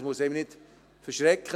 Das muss einen nicht erschrecken: